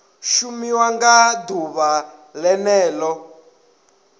shumiwa nga ḓuvha ḽene ḽo